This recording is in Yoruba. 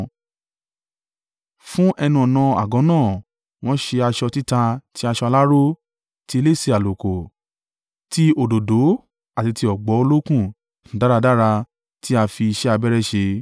Fún ẹnu-ọ̀nà àgọ́ náà wọ́n ṣe aṣọ títa ti aṣọ aláró, ti elése àlùkò, ti òdòdó àti ti ọ̀gbọ̀ olókùn dáradára tí a fi iṣẹ́ abẹ́rẹ́ ṣe;